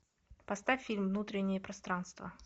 поставь фильм внутреннее пространство